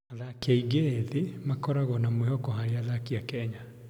Athaki aingĩ ethĩ makoragwo na mwĩhoko harĩ athaki a Kenya.